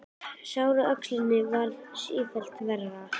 Sárið á öxlinni varð sífellt verra.